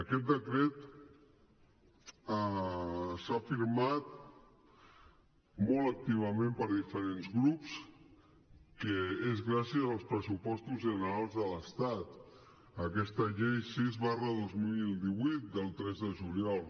aquest decret s’ha afirmat molt activament per diferents grups que és gràcies als pressupostos generals de l’estat aquesta llei sis dos mil divuit del tres de juliol